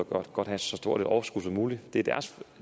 godt have så stort et overskud som muligt